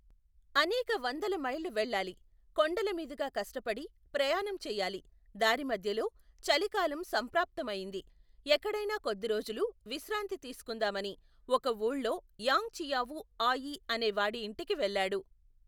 అనేకవందల మైళ్ళు వెళ్ళాలి, కొండల మీదుగా కష్టపడి, ప్రయాణం చేయాలి, దారిమధ్యలో, చలికాలం సంప్రాప్తమయింది, ఎక్కడైనా కొద్దిరోజులు, విశ్రాంతి తీసుకుందామని, ఒక ఊళ్ళో, యాంగ్ చియావూ, ఆయీ, అనేవాడి ఇంటికి వెళ్లాడు.